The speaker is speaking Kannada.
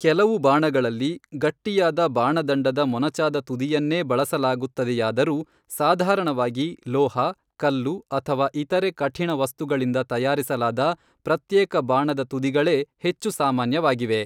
ಕೆಲವು ಬಾಣಗಳಲ್ಲಿ ಗಟ್ಟಿಯಾದ ಬಾಣದಂಡದ ಮೊನಚಾದ ತುದಿಯನ್ನೇ ಬಳಸಲಾಗುತ್ತದೆಯಾದರೂ, ಸಾಧಾರಣವಾಗಿ ಲೋಹ, ಕಲ್ಲು ಅಥವಾ ಇತರೆ ಕಠಿಣ ವಸ್ತುಗಳಿಂದ ತಯಾರಿಸಲಾದ ಪ್ರತ್ಯೇಕ ಬಾಣದ ತುದಿಗಳೇ ಹೆಚ್ಚು ಸಾಮಾನ್ಯವಾಗಿವೆ.